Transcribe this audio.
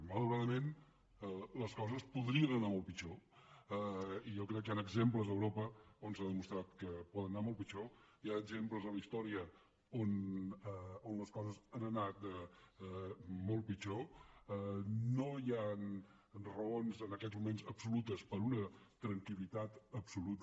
malauradament les coses podrien anar molt pitjor i jo crec que hi han exemples a europa on s’ha demostrat que poden anar molt pitjor hi ha exemples a la història on les coses han anat molt pitjor no hi han raons en aquests moments absolutes per a una tranquil·litat absoluta